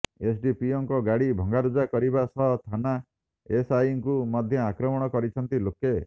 ଏସ୍ଡିପିଓଙ୍କ ଗାଡ଼ି ଭଙ୍ଗାରୁଜା କରିବା ସହ ଥାନା ଏସ୍ଆଇଙ୍କୁ ମଧ୍ୟ ଆକ୍ରମଣ କରିଛନ୍ତି ଲୋକ